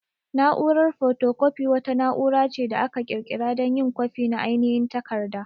Na'urar photocopy wata na'ura ce da aka ƙirƙira dan yin kwafi na ainihin takarda.